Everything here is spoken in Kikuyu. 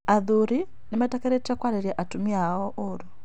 athuri nĩmetĩkĩrĩtio kwarĩria atumia ao ũũru